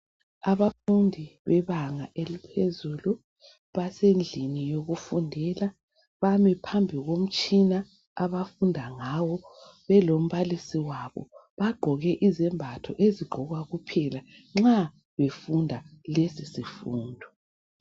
abafundi bebanga eliphezulu basendlini yokufundela bami phambi komtshina abafunda ngawo belombalisi wabo bagqoke izembath ezigqokwa kuphela nxa befunda lesi sifundo